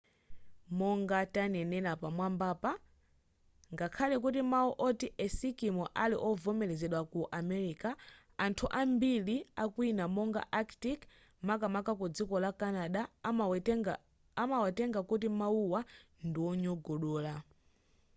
monga tanenela pamwambapa ngakhale kuti mau oti esikimo ali ovomelezedwa ku america anthu ambiri akwina monga arctic makamaka ku dziko la canada amawatenga kuti mauwa ndi onyogodola